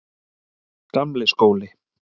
Gamli skóli